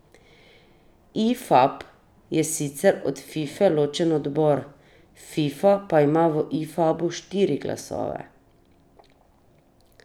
Ifab je sicer od Fife ločen odbor, Fifa pa ima v Ifabu štiri glasove.